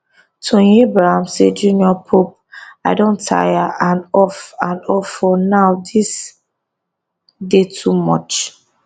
toyin abraham say jnr pope i don tire and off and off for now dis dey too much